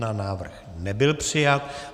Návrh nebyl přijat.